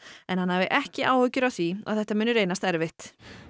en hann hafi ekki áhyggjur af því að þetta muni reynast erfitt